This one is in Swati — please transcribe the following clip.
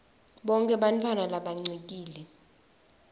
bonkhe bantfwana labancikile